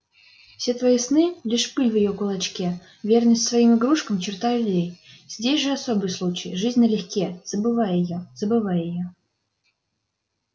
все твои сны лишь пыль в её кулачке верность своим игрушкам черта людей здесь же особый случай жизнь налегке забывай её забывай её